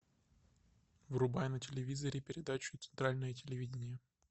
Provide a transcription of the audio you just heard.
врубай на телевизоре передачу центральное телевидение